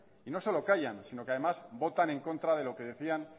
y no solo callan si no que además votan en contra de lo que decían